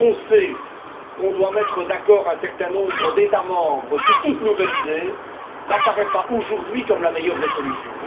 Quand on sait qu'on doit mettre d'accord un certain nombre d'États membres sur toute nouvelle idée, cela n'apparaît pas aujourd'hui comme la meilleure des solutions.